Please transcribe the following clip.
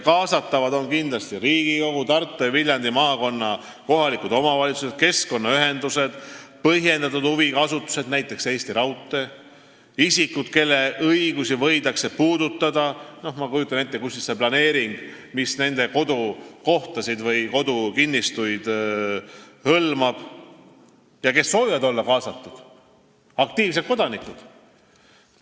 Kaasatavad on kindlasti Riigikogu, Tartu ja Viljandi maakonna kohalikud omavalitsused, keskkonnaühendused, põhjendatud huviga asutused, näiteks Eesti Raudtee, isikud, kelle õigusi võidakse puudutada – ma kujutan ette, et need on inimesed, kelle kodukohta või kodukinnistuid see planeering hõlmab –, ja need, kes soovivad olla kaasatud, aktiivsed kodanikud.